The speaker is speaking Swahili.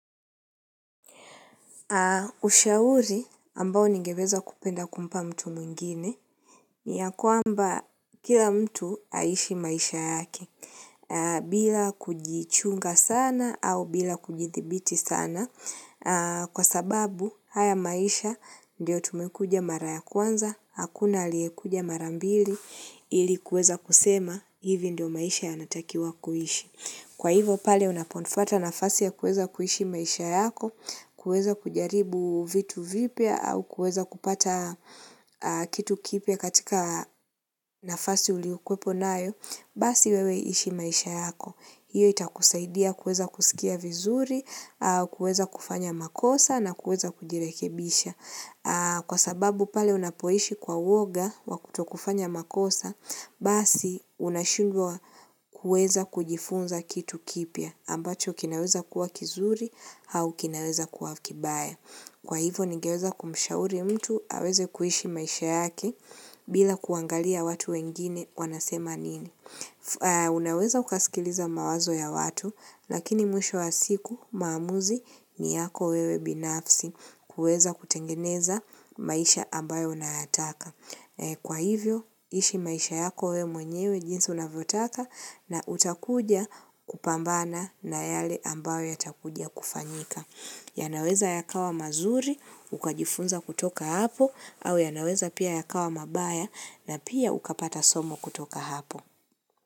Ushauri ambao ningeweza kupenda kumpa mtu mwingine ni ya kwamba kila mtu aishi maisha yake bila kujichunga sana au bila kujithibiti sana kwa sababu haya maisha ndiyo tumekuja mara ya kwanza, hakuna aliyekuja mara mbili ili kuweza kusema hivi ndio maisha yanatakiwa kuhishi. Kwa hivo pale unapofata nafasi ya kuweza kuishi maisha yako, kuweza kujaribu vitu vipya au kuweza kupata kitu kipya katika nafasi uliokuwepo nayo, basi wewe ishi maisha yako. Hiyo itakusaidia kuweza kusikia vizuri, kuweza kufanya makosa na kuweza kujirekebisha. Kwa sababu pale unapoishi kwa woga wa kutokufanya makosa, basi unashundwa kueza kujifunza kitu kipia, ambacho kinaweza kuwa kizuri hau kinaweza kuwa kibaya. Kwa hivyo, nigeweza kumshauri mtu aweze kuishi maisha yake bila kuangalia watu wengine wanasema nini. Unaweza ukaskiliza mawazo ya watu, lakini mwisho wa siku maamuzi ni yako wewe binafsi kuweza kutengeneza maisha ambayo unayataka. Kwa hivyo, ishi maisha yako wewe mwenyewe jinsi unavyotaka na utakuja kupambana na yale ambayo yatakuja kufanyika. Yanaweza yakawa mazuri, ukajifunza kutoka hapo, au yanaweza pia yakawa mabaya na pia ukapata somo kutoka hapo.